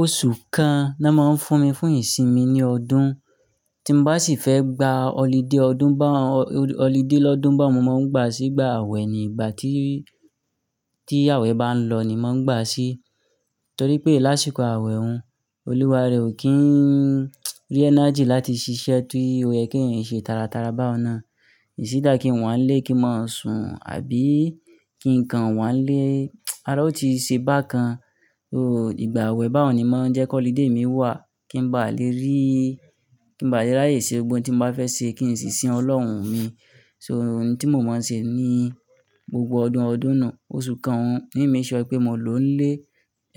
Oṣù kan naa máa ń fún mi fún ìsinmi ní ọdún, tí mo bá sì fẹ́ gba holiday ọdún bá, holiday lọ́dún bá un, mo máa ń gbà sí ìgbà àwẹ̀ ni, ìgbà tí, tí àwẹ̀ bá ń lọ ni mo ń gbà sí. Torí pé lásìkò àwẹ̀ un, olúware ò kí ń rí energy láti ṣiṣẹ́, ti ó yẹ kí ẹ̀yin ṣe tára tára baun nà. Is either kí n wá n lé kí n máa sùn àbí kí n kan wá nlé, ara ó ti ṣe bákan. Ó, ìgbà àwẹ̀ bá un ni máa ń jẹ́ kó holiday mi wà, kí n ba lè rí, kí n ba lè ráyè ṣe ohun tí n bá fẹ́ ṣe kí n sì sin Ọlọ́run mi. So, ohun tí mo máa ń ṣe ní gbogbo ọdún ọdún nù, oṣù kan ni make sure pé mo lò ó ń lé,